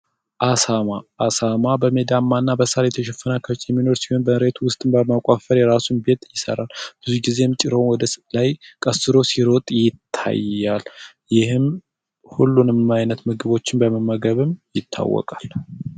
አሳማ አሳማ በሜዳማና በሥር የተሸፈነ ላይ የሚኖር ሲሆን፤ መሬት ውስጥ በመቆፈር የራሱን ቤት ይሰራል። ብዙ ጊዜ ጭራውን ወደ ላይ ቀስሮ ሲሮጥ ይታያል። ይህም ሁሉንም ዓይነት ምግቦችን በመመገብም ይታወቃል።